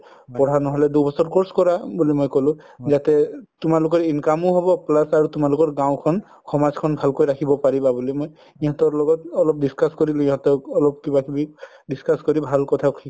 পঢ়া নহলে course কৰা বুলি মই কলো যাতে তুমালোকে income ও হব plus আৰু তোমালোকৰ গাওঁখন সমাজখ্ন ভালকৈ ৰাখিবা বুলি মই সিহতৰ লগত অলপ discuss কৰিলো সিহতক অলপ কিবা কিবি discuss কৰি সিহতক ভাল কথা